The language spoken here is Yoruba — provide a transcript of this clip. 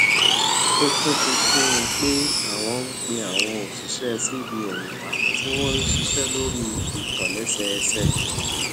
ó tún fi kún un pé àwọn un pé àwọn òṣìṣé cbn wa tí wón ń ṣiṣé lórí ìtòlésẹẹsẹ